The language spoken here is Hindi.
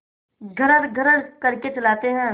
घर्रघर्र करके चलाते हैं